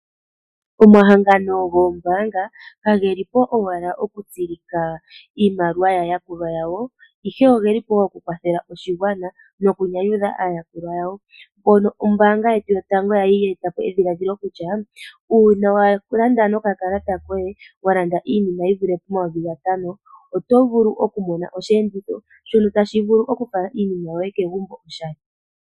Omahangano goombaanga kage li po owala okutsilika iimaliwa yaayakulwa yawo, ihe oge li po wo okukwathela oshigwana, nokunyanyudha aayakulwa yawo, mpono ombaanga yetu yotango ya li ya eta po edhiladhilo kutya uuna wa landa nokakatala koye, wa landa iinima yi vule pomayovi gatano, oto vulu okumona osheenditho shono tashi vulu okufala iinima yoye kegumbo oshali.